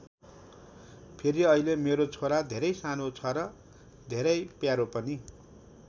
फेरि अहिले मेरो छोरा धेरै सानो छ र धेरै प्यारो पनि।